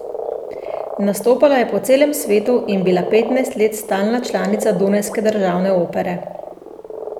Nastopala je po celem svetu in bila petnajst let stalna članica Dunajske državne opere.